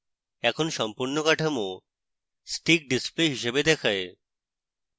এখন সম্পূর্ণ কাঠামো sticks display হিসাবে দেখায়